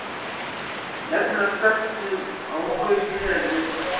NEFNILEGA STAKKNUM OG FRAUS Í HEL, VIÐ